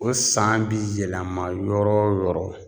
O san bi yɛlɛma yɔrɔ yɔrɔ